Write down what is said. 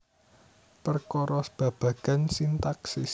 Perkara babagan sintaksis